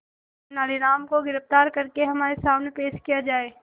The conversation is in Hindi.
तेनालीराम को गिरफ्तार करके हमारे सामने पेश किया जाए